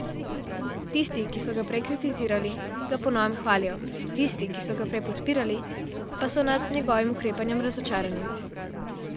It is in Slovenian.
Tisti, ki so ga prej kritizirali, ga po novem hvalijo, tisti, ki so ga prej podpirali, pa so nad njegovim ukrepanjem razočarani.